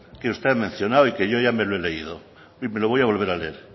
que usted ha mencionado y que yo ya me lo he leído y me lo voy a volver a leer